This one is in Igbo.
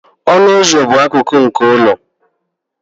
ọnụ ụzọ bụ akụkụ nke ụlọ